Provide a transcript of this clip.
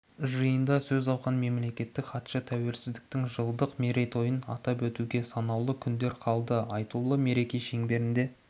жиында сөз алған мемлекеттік хатшы тәуелсіздіктің жылдық мерейтойын атап өтуге санаулы күндер қалды айтулы мереке шеңберінде